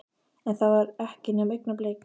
En það var ekki nema augnablik.